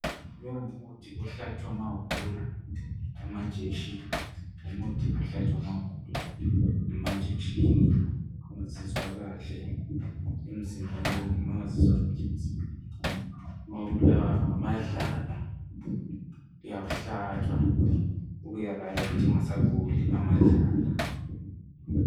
Lo ngumuthi ohlatshwa ma ugula, amainjection. Umuthi ohlatshwa ma ugula, amainjection. Ungazizwa kahle emzimbeni. Uma yngazizwa kahle. Ma ubulawa ngamadlala, uyawuhlatshwa. Uberayithi, ungasaguli. Amadlala.